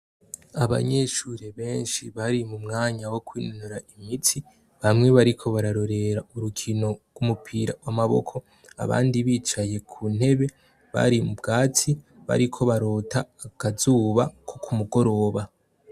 Abanyeshure benshi bari m'umwanya wo kwinonora imitsi. Bamwe bariko bararorera urukino rw'umupira w'amaboko abandi bicaye kuntebe bari m'ubwatsi bariko barota akazuba ko k'umugoroba.